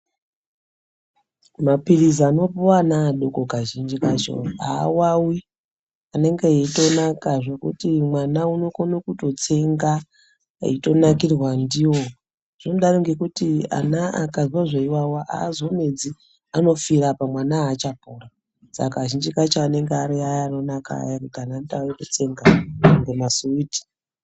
Mapilizi anopuwa vana vadodori kazhinji kakona awawi anenge achitonaka zvekuti mwana unotokona tsenga eitonakirwa ndiwo zvinodaro ngekuti ana akanzwa zveiwawa azomedzi anopfira apa mwana achatopori saka kazhinji kacho anenge ari aya anonaka aya ekuti anotsenga kunga masuwiti.